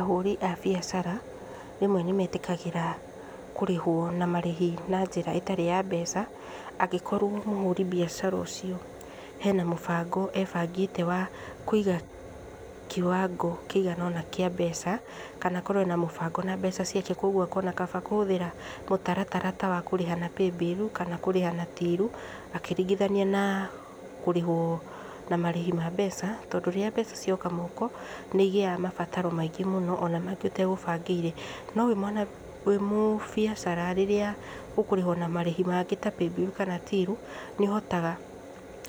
Ahũri a biacara, rĩmwe nĩmetĩkagĩra kũrĩhwo na marĩhi na njĩra ĩtarĩ ya mbeca, angĩkorwo mũhũri biacara ũcio, hena mũbango ebangĩte wa kũiga kiwango kĩigana ũna kĩa mbeca, kana akorwo ena mũbango na mbeca ciake, kwoguo akona kaba kũhũthĩra mũtaratara ta wa kũrĩha na Paybill, kana kũrĩha na Till, akĩringithania na kũrĩhwo na marĩhi ma mbeca, tondũ rĩrĩa mbeca cioka moko, nĩ igĩaga mabataro maingĩ mũno, ona mangĩ ũtegũbangĩire, no wimwa, wĩ mũbĩacara rĩrĩa ũkũrĩhwo na marĩhi maingĩ ta Paybill, kana Till, nĩũhotaga